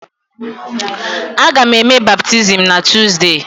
Aga m eme baptizim na Tuzdee.